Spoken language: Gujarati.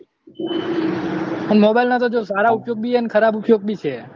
mobile ના જો સારા ઉપયોગ ભી હે ને ખરાબ ઉપયોગ ભી છે